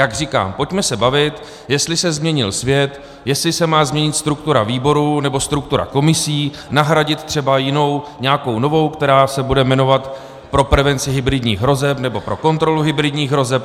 Jak říkám, pojďme se bavit, jestli se změnil svět, jestli se má změnit struktura výborů, nebo struktura komisí, nahradit třeba jinou, nějakou novou, která se bude jmenovat pro prevenci hybridních hrozeb, nebo pro kontrolu hybridních hrozeb.